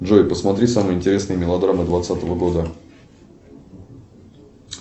джой посмотри самые интересные мелодрамы двадцатого года